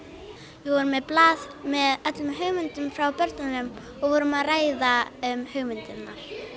við vorum með blað með öllum hugmyndum frá börnunum og vorum að ræða um hugmyndirnar